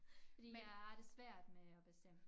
Fordi jeg har det svært med at bestemme